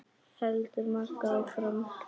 heldur Magga áfram.